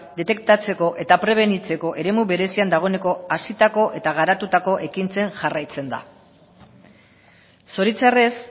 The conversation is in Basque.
detektatzeko eta prebenitzeko eremu berezian dagoeneko hazitako eta garatutako ekintzen jarraitzen da zoritxarrez